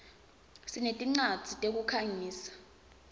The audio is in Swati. sinetincwadzi tekukhangisa